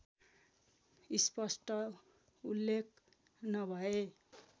स्पष्ट उल्लेख नभए